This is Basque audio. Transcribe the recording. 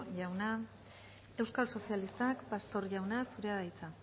jauna euskal sozialistak pastor jauna zurea da hitza